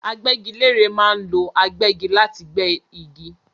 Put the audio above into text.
Agbẹ́gilére ma ń lo agbẹ́gi láti gbé igi